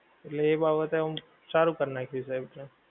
એટલે એ બાબતે આમ સારું કર નાખિયું છે એવું છે